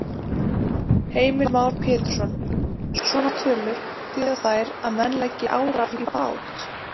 Heimir Már Pétursson: Svona tölur, þýða þær að menn leggi árar í bát?